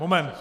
Moment!